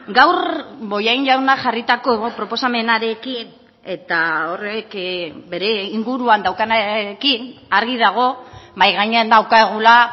gaur bollain jaunak jarritako proposamenarekin eta horrek bere inguruan daukanarekin argi dago mahai gainean daukagula